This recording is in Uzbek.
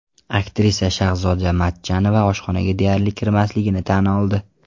Aktrisa Shahzoda Matchonova oshxonaga deyarli kirmasligini tan oldi.